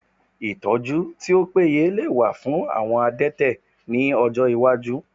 Ìtọ́jú tí ó péye lè wà fún àwọn adẹ́tẹ̀ ní ọjọ́ iwájú